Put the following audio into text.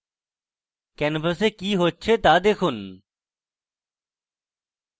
canvas কি হচ্ছে তা দেখুন